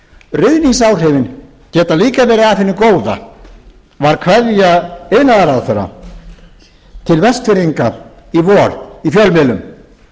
ruðningsáhrifin geta líka verið af hinu góða var kveðja iðnaðarráðherra til vestfirðinga í vor í fjölmiðlum þegar þar var